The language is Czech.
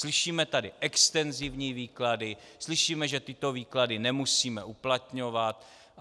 Slyšíme tady extenzivní výklady, slyšíme, že tyto výklady nemusíme uplatňovat.